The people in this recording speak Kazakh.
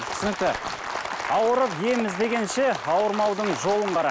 түсінікті ауырып ем іздегенше ауырмаудың жолын қара